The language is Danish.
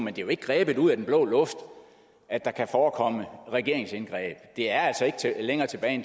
er jo ikke grebet ud af den blå luft at der kan forekomme regeringsindgreb det er altså ikke længere tilbage